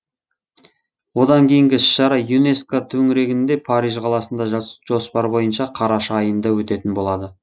одан кейінгі іс шара юнеско төңірегінде париж қаласында жоспар бойынша қараша айында өтетін болады